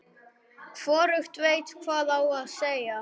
Hvorugt veit hvað á að segja.